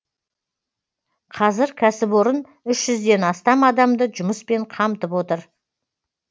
қазір кәсіпорын үш жүзден астам адамды жұмыспен қамтып отыр